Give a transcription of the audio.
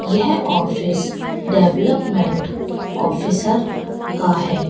यह office development officer का है।